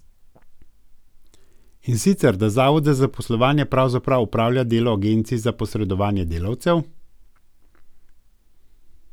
In sicer, da zavod za zaposlovanje pravzaprav opravlja delo agencij za posredovanje delavcev.